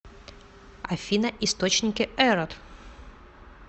афина источники эрот